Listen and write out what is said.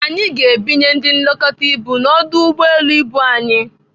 Anyị ga-ebinye ndị nlekọta ibu n'ọdụ ụgbọelu ibu anyị.